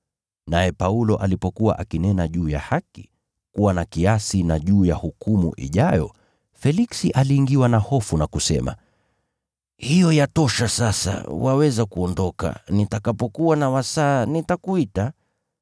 Naye Paulo alipokuwa akinena juu ya haki, kuwa na kiasi na juu ya hukumu ijayo, Feliksi aliingiwa na hofu na kusema, “Hiyo yatosha sasa! Waweza kuondoka. Nitakapokuwa na wasaa nitakuita.”